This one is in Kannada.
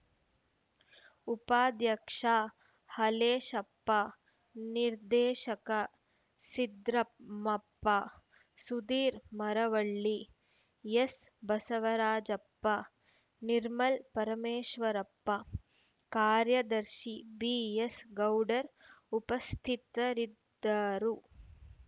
ಉಪಾಧ್ಯಕ್ಷ ಹಾಲೇಶಪ್ಪ ನಿರ್ದೇಶಕ ಸಿದ್ರಾಮಪ್ಪ ಸುಧೀರ ಮರವಳ್ಳಿ ಎಚ್‌ಬಸವರಾಜಪ್ಪ ನಿರ್ಮಲ ಪರಮೇಶ್ವರಪ್ಪ ಕಾರ್ಯದರ್ಶಿ ಬಿಎಸ್‌ ಗೌಡರ್‌ ಉಪಸ್ಥಿತರಿದ್ದರು